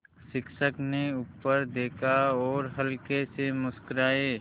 शिक्षक ने ऊपर देखा और हल्के से मुस्कराये